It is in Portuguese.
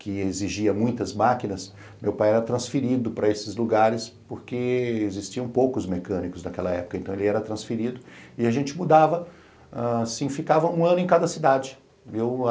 que exigia muitas máquinas, meu pai era transferido para esses lugares porque existiam poucos mecânicos naquela época, então ele era transferido e a gente mudava, assim, ficava um ano em cada cidade.